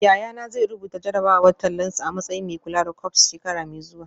Yayana zai rubuta jarrabawar tallansa a matsayin mai kula da corps shekara mai zuwa